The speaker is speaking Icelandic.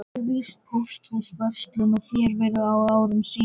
Þar var víst pósthús, verslun og ferjustaður á árum áður.